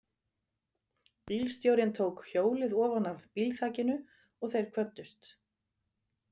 Bílstjórinn tók hjólið ofanaf bílþakinu og þeir kvöddust.